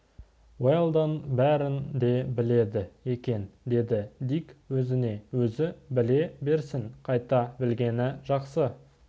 уэлдон бәрін де біледі екен деді дик өзіне өзі біле берсін қайта білгені жақсы